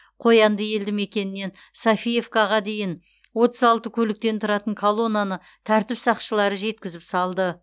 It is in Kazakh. қоянды елді мекенінен софиевкаға дейін отыз алты көліктен тұратын колонаны тәртіп сақшылары жеткізіп салды